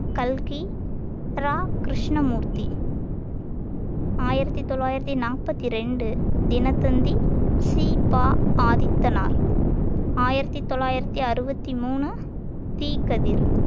கல்கி ரா கிருஷ்ணமூர்த்தி ஆயிரத்தி தொள்ளாயிரத்தி நாற்பத்தி ரெண்டு தினத்தந்தி சி பா ஆதித்தனார் ஆயிரத்தி தொள்ளாயிரத்தி அறுபத்தி மூணு தீக்கதிர்